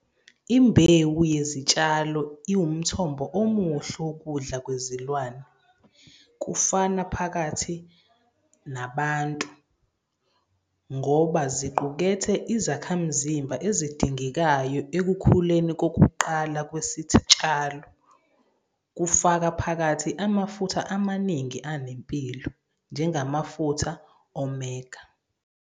Imbewu yezitshalo iwumthombo omuhle wokudla kwezilwane, kufaka phakathi nabantu, ngoba ziqukethe izakhamzimba ezidingekayo ekukhuleni kokuqala kwesitshalo, kufaka phakathi amafutha amaningi anempilo, njengamafutha omega.